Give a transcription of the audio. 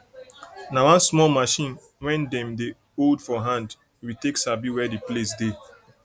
nah one small machine wen dem dey hold for hand we take sabi where the place dey